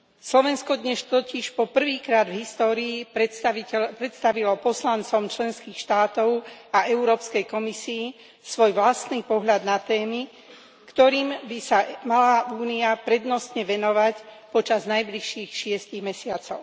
Slovensko dnes totiž po prvýkrát v histórii predstavilo poslancom členských štátov a Európskej komisii svoj vlastný pohľad na témy, ktorým by sa mala Únia prednostne venovať počas najbližších šiestich mesiacov.